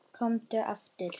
Komdu aftur.